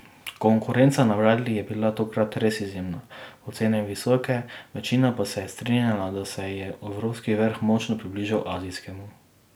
Konkurenca na bradlji je bila tokrat res izjemna, ocene visoke, večina pa se je strinjala, da se je evropski vrh močno približal azijskemu.